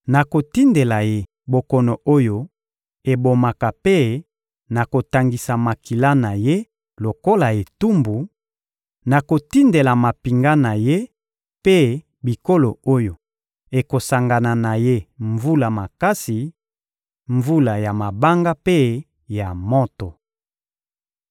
Nakotindela ye bokono oyo ebomaka mpe nakotangisa makila na ye lokola etumbu; nakotindela mampinga na ye mpe bikolo oyo ekosangana na ye mvula makasi, mvula ya mabanga mpe ya moto.